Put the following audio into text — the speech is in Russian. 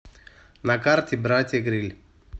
на карте братья грилль